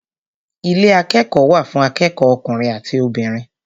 Ilé akẹ́kọ̀ọ́ wà fún akẹ́kọ̀ọ́ ọkùnrin àti obìnrin.